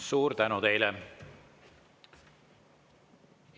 Suur tänu teile!